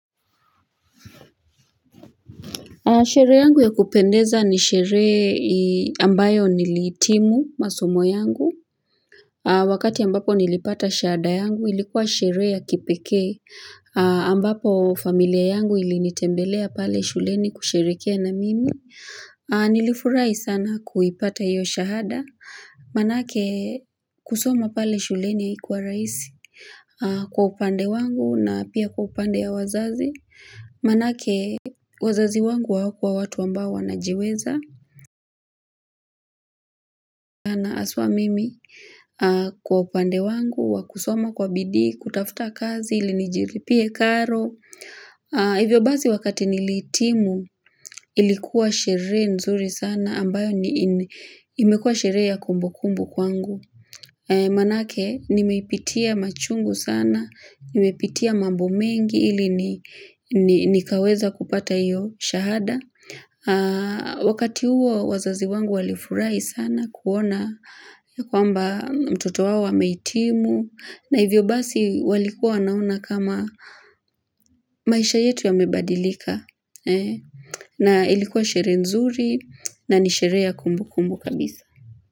Sheree yangu ya kupendeza ni sheree ambayo nilihitimu masomo yangu. Wakati ambapo nilipata shahada yangu ilikuwa sheree ya kipekee ambapo familia yangu ilinitembelea pale shuleni kusherekea na mimi. Nilifurahi sana kuipata hiyo shahada. Manake kusoma pale shuleni haikuwa raisi kwa upande wangu na pia kwa upande ya wazazi. Manake, wazazi wangu hawakua watu ambao wanajiweza Aswa mimi kwa upande wangu, wa kusoma kwa bidii, kutafta kazi, ili nijiripie karo Hivyo bazi wakati nilihitimu, ilikuwa sheree nzuri sana ambayo imekua sheree ya kumbukumbu kwangu Manake, nimeipitia machungu sana, nimeipitia mambo mengi hili nikaweza kupata hiyo shahada wakati huo wazazi wangu walifurai sana kuona ya kwamba mtoto wao amehitimu na hivyo basi walikuwa wanaona kama maisha yetu yamebadilika na ilikuwa sheree nzuri na ni sheree ya kumbukumbu kabisa.